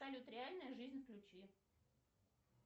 салют реальная жизнь включи